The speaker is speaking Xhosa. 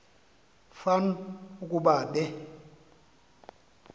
fan ukuba be